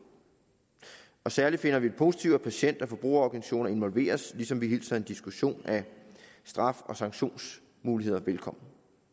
særlig finder vi det positivt at patient og forbrugerorganisationer involveres ligesom vi hilser en diskussion af straf og sanktionsmuligheder velkommen